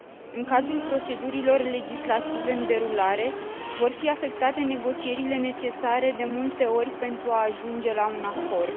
În cazul procedurilor legislative în derulare, vor fi afectate negocierile necesare de multe ori pentru a ajunge la un acord.